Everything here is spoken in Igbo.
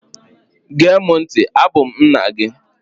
Gee mụ ntị! Abụ m nna gị!